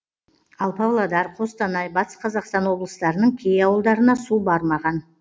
ал павлодар қостанай батыс қазақстан облыстарының кей ауылдарына су бармаған